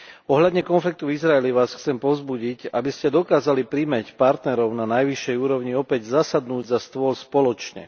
Ohľadne konfliktu v Izraeli Vás chcem povzbudiť, aby ste dokázali primäť partnerov na najvyššej úrovni opäť zasadnúť za stôl spoločne.